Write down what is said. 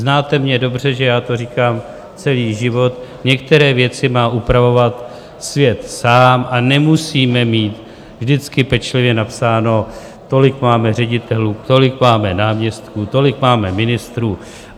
Znáte mě dobře, že já to říkám celý život, některé věci má upravovat svět sám a nemusíme mít vždycky pečlivě napsáno - tolik máme ředitelů, tolik máme náměstků, tolik máme ministrů.